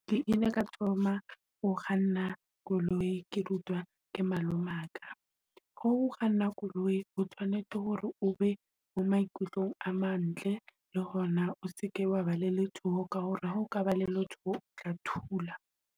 Ke ile ka thoma ho kganna koloi, ke rutwa ke malomaka. Ha o kganna koloi o tshwanetse hore o be mo maikutlong a mantle, le hona o seke wa ba le letshoho. Ka hore ha o ka ba le letshoho o tla thula.